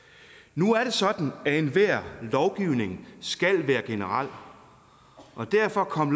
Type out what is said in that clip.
nu er det sådan at enhver lovgivning skal være generel og derfor kom